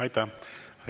Aitäh!